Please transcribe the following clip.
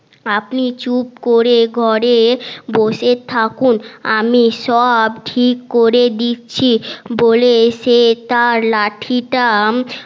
আপনি চুপ করে ঘরে বসে থাকুন আমি সব ঠিক করে দিচ্ছি বলে সে তার লাঠিটা